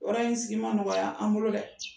Yɔrɔ sigi ma nɔgɔya an bolo dɛ